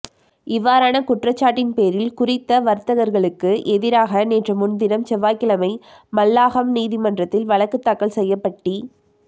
இவ்வாறான குற்றச் சாட்டின் பேரில் குறித்த வர்த்தகர்களுக்கு எதிராக நேற்று முன்தினம் செவ்வாய்க்கிழமை மல்லாகம் நீதிமன்றத்தில் வழக்குத் தாக்கல் செய்யப்பட்டி